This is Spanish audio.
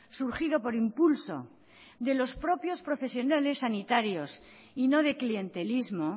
surgido por impulso de los propios profesionales sanitarios y no de clientelismo